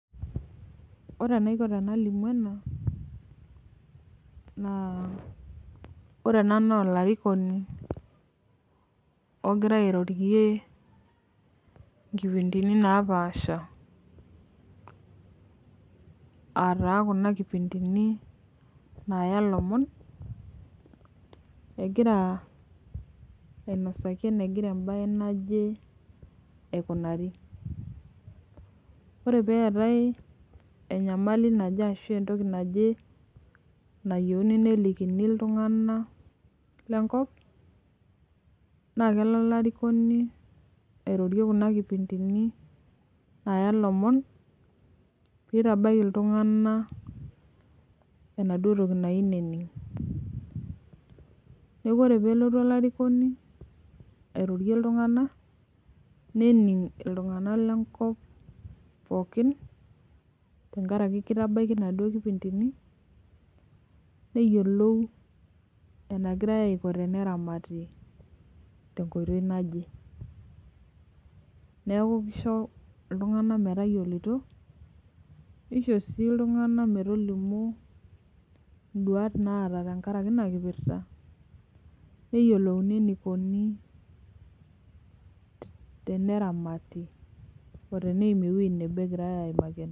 Ore enaiko tenalimu ena, naa ore ena naa olarikoni ogira airorie nkipindini napaasha. aataa Kuna nkipindini naaya lomon. egira ainosaki eneiko ebae naje aikunari. ore pee eetae enyamali naje ashu entoki naje. nayieuni nelikini iltunganak lenkop, naa kelo olarikoni airorie Kuna kipindini ays lomon. neitabaiki iltunganak, enaduoo toki nayieu nening .neeku ore peelotu olarikoni. airorie iltunganak nening iltunganak le nkop pookin. tenkaraki kitabaiki inaduoo kipindini neyiolou enegirae, Aiko teneramati tenkoitoi naje. neeku kisho iltunganak